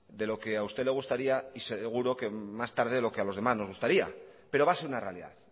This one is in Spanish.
de lo que a usted le gustaría y seguro que más tarde de lo que a los demás nos gustaría pero va a ser una realidad